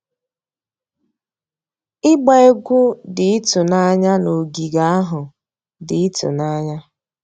Ịgba egwu dị ịtụnanya na ogige ahụ dị ịtụnanya.